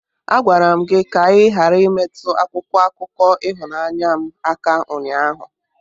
Agwara m gi ka ighara imetụ akwụkwọ akụkọ ịhụnanya m aka ụnyaahụ!